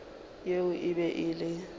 yeo e be e le